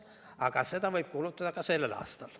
Aga seda võib kulutada ka sellel aastal.